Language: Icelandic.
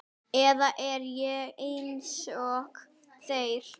Eða er ég einsog þeir?